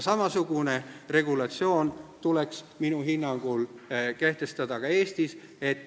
Samasugune regulatsioon tuleks minu hinnangul kehtestada ka Eestis.